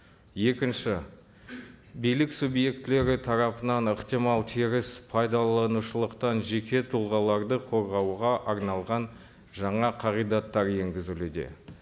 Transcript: екінші билік субъектілері тарапынан ықтимал теріс пайдаланушылықтан жеке тұлғаларды қорғауға арналған жаңа қағидаттар енгізілуде